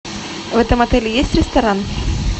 в этом отеле есть ресторан